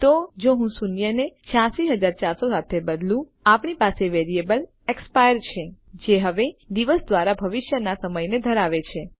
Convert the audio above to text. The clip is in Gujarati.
તો જો હું શૂન્ય ને 86400 સાથે બદલું આપણી પાસે વેરિયેબલ એક્સપાયર છે જે હવે દિવસ દ્વારા ભવિષ્યનાં સમયને ધરાવે છે